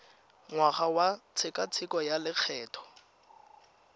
ngwaga wa tshekatsheko ya lokgetho